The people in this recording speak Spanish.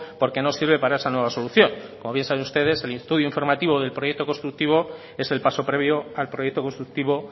porque no sirve para esa nueva solución como bien saben ustedes el estudio informativo del proyecto constructivo es el paso previo al proyecto constructivo